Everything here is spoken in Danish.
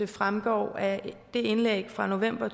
det fremgår af det indlæg fra november